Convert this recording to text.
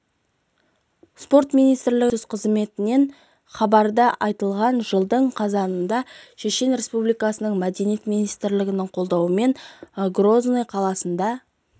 спорт министрлігінің баспасөз қызметінен хабарда айтылғандай жылдың қазанында шешен республикасының мәдениет министрлігінің қолдауымен грозный қаласында